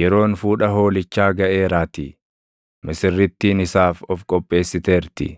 Yeroon fuudha Hoolichaa gaʼeeraatii; misirrittiin isaas of qopheessiteerti.